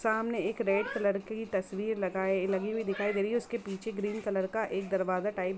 सामने एक red colour की तस्वीर लगाए लगी हुई दिखाय दे रही है उसके पीछे एक ग्रीन कलर का एक दरवाजा टाईप --